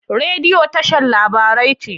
Rediyo tashar labarai ce.